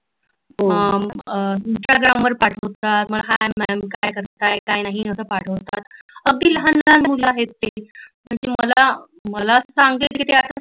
ईस्टाग्रामवर पाठवतात मला hi ma'am काय करता काय नाही अस पाठवतात अगदी लहान लहान मुल आहेत म्हंजे जी मला, मला सांगेल कि ते अत्ता